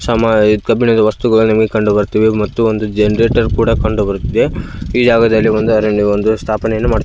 ಸಮ ಇದು ಕಬ್ಬಿಣದ ವಸ್ತುಗಳು ನಿಮಗೆ ಕಂಡುಬರ್ತಿವೆ ಮತ್ತು ಒಂದು ಜೆನೆರೇಟರ್ ಕೂಡ ಕಂಡುಬರ್ತಿದೆ ಈ ಜಾಗದಲ್ಲಿ ಒಂದು ಅರಣ್ಯವನ್ನು ಸ್ಥಾಪನೆಯನ್ನು ಮಾಡು --